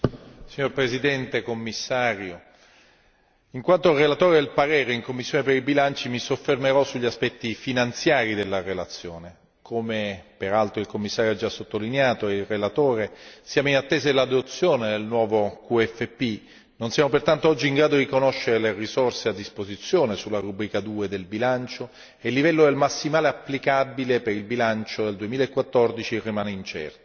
Signor Presidente, signor Commissario, onorevoli colleghi, in quanto relatore del parere in commissione per i bilanci mi soffermerò sugli aspetti finanziari della relazione come peraltro il Commissario ha già sottolineato e il relatore siamo in attesa dell'adozione del nuovo QFP, non siamo pertanto oggi in grado di conoscere le risorse a disposizione sulla rubrica 2 del bilancio e il livello del massimale applicabile per il bilancio nel 2014 rimane incerto.